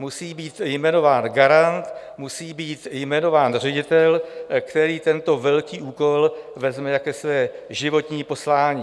Musí být jmenován garant, musí být jmenován ředitel, který tento velký úkol vezme jako své životní poslání.